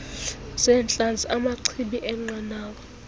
zeentlanzi amachibi eenqanawa